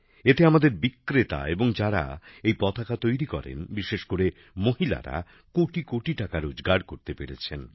এতে আমাদের বিক্রেতা এবং যারা এই পতাকা তৈরি করেন বিশেষ করে মহিলারা কোটি কোটি টাকা রোজগার করতে পেরেছেন